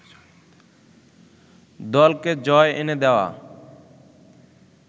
দলকে জয় এনে দেয়া